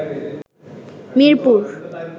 Mirpur